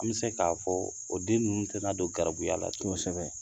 An bɛ se k'a fɔ o den ninnu tɛna n'a don garibuya la tun kosɛbɛ